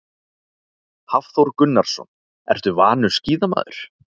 Hafþór Gunnarsson: Ertu vanur skíðamaður?